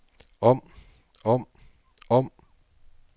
om om om